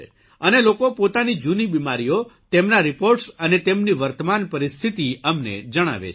અને લોકો પોતાની જૂની બિમારીઓ તેમના રીપોર્ટસ અને તેમની વર્તમાન પરિસ્થિતિ અમને જણાવે છે